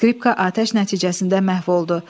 Skripka atəş nəticəsində məhv oldu.